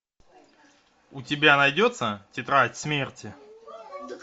у тебя найдется тетрадь смерти